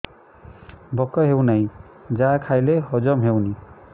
ଭୋକ ହେଉନାହିଁ ଯାହା ଖାଇଲେ ହଜମ ହଉନି